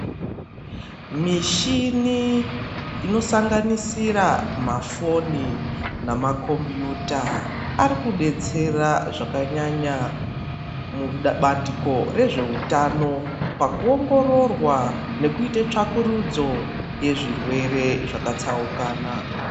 Mishini inosanganisira mafoni nemakombiyuta arikudetsera zvakanyanya mubandiko rezveutano pakuongororwa nekuita tsvakurudzo yezvirwere zvakatsaukana.